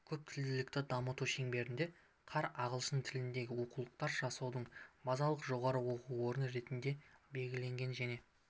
көптілділікті дамыту шеңберінде қар ағылшын тіліндегі оқулықтар жасаудың базалық жоғары оқу орны ретінде белгіленген және